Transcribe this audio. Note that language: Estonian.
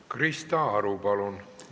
Krista Aru, palun!